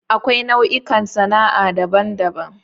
Akwai nau'ikan sana'a daban-daban.